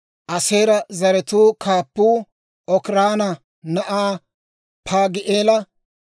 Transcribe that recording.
Aaseera zaratuu kaappuu Okiraana na'aa Paagi'eela;